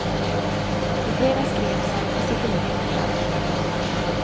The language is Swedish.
I fredags greps han och sitter nu häktad.